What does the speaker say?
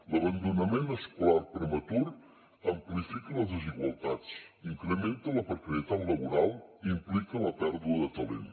l’abandonament escolar prematur amplifica les desigualtats incrementa la precarietat laboral i implica la pèrdua de talent